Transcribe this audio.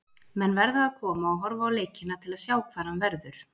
Menn verða að koma og horfa á leikina til að sjá hvar hann verður.